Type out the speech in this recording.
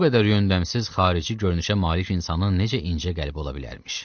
Bu qədər yondəmsiz xarici görünüşə malik insanın necə incə qəlb ola bilərmiş.